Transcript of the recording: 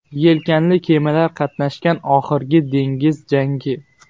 Yelkanli kemalar qatnashgan oxirgi dengiz jangi.